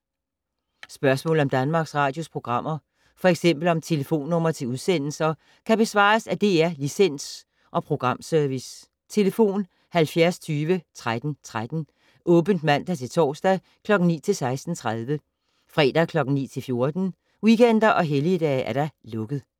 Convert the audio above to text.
Spørgsmål om Danmarks Radios programmer, f.eks. om telefonnumre til udsendelser, kan besvares af DR Licens- og Programservice: tlf. 70 20 13 13, åbent mandag-torsdag 9.00-16.30, fredag 9.00-14.00, weekender og helligdage: lukket.